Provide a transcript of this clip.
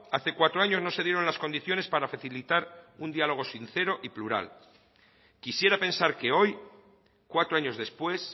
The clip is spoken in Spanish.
hace cuatro años no se dieron las condiciones para facilitar un diálogo sincero y plural quisiera pensar que hoy cuatro años después